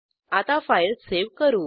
आता file save करू